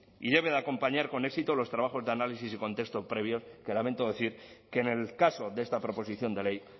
y debe de acompañar con éxito los trabajos de análisis y contexto previos que lamento decir que en el caso de esta proposición de ley